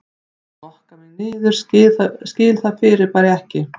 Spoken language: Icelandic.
Skokka mig niður skil það fyrirbæri ekki